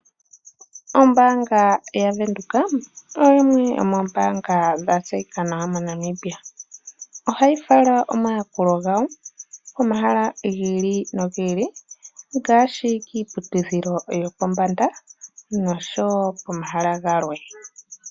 Ombaanga ya Venduka, oyimwe yomoombaanga dha tseyika nawa moNamibia. Ohayi fala omayakulo gawo komahala gi ili nogi ili ngaashi kiiputidhilo yopombanda, nosho wo pomahala galwe.